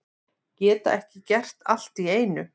Geta ekki gert allt í einu